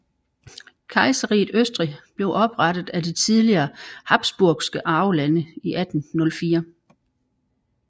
Kejserriget Østrig blev oprettet af de tidligere habsburgske arvelande i 1804